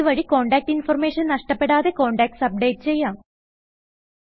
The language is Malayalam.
ഇത് വഴി കോണ്ടാക്റ്റ് ഇൻഫർമേഷൻ നഷ്ടപെടാതെ കോണ്ടാക്ട്സ് അപ്ഡേറ്റ് ചെയ്യാം